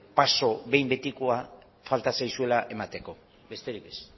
paso behin betikoa falta zaizuela emateko besterik ez